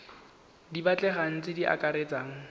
di batlegang tse di akaretsang